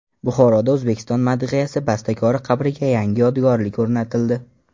Buxoroda O‘zbekiston madhiyasi bastakori qabriga yangi yodgorlik o‘rnatildi.